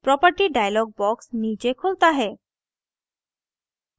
property dialog box नीचे खुलता है